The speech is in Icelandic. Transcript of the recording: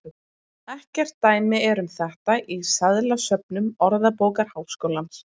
Ekkert dæmi er um þetta í seðlasöfnum Orðabókar Háskólans.